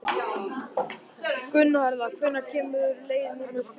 Gunnharða, hvenær kemur leið númer fjörutíu?